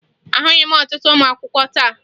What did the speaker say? Ahụghị m ọtụtụ ụmụakwụkwọ taa